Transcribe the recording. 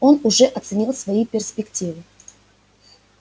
он уже оценил свои перспективы